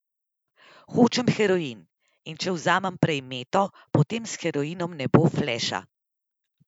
Hočem heroin, in če vzamem prej meto, potem s heroinom ne bo fleša.